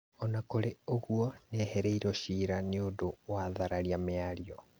Ona kũrĩ ũguo nĩehereirio ciira nĩũndũ wa thararia mĩario.